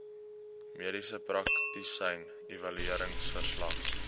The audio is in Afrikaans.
mediese praktisyn evalueringsverslag